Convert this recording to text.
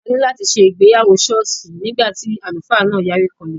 A ní láti ṣe ìgbéyàwó sọ́ọ̀sì nígbà tí àlùfáà náà yarí kanlẹ̀.